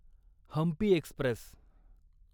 Hampi Express